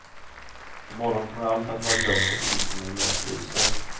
I morgon kommer allt att vara glömt och ingen kommer mer att bry sig.